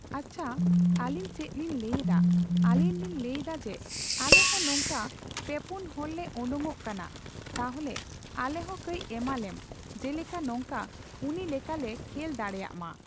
ᱟᱪᱪᱷᱟ ᱟᱹᱞᱤᱧ ᱪᱮᱫ ᱞᱤᱧ ᱞᱟᱹᱭ ᱮᱫᱟ ᱟᱹᱞᱤᱧ ᱞᱤᱧ ᱞᱟᱹᱭ ᱮᱫᱟ ᱡᱮ ᱟᱞᱮ ᱦᱚᱸ ᱱᱚᱝᱠᱟ ᱯᱮᱯᱩᱱ ᱦᱚᱲ ᱞᱮ ᱚᱰᱳᱝᱚᱜ ᱠᱟᱱᱟ ᱛᱟᱦᱞᱮ ᱟᱞᱮ ᱦᱚᱸ ᱠᱳᱡ ᱮᱢᱟᱞᱮᱢ ᱡᱮᱞᱮᱠᱟ ᱱᱚᱝᱠᱟ ᱩᱱᱤ ᱞᱮᱠᱟ ᱞᱮ ᱠᱷᱮᱞ ᱫᱟᱲᱮᱭᱟᱜᱢᱟ ᱾